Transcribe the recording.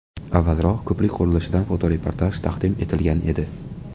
Avvalroq ko‘prik qurilishidan fotoreportaj taqdim etilgan edi.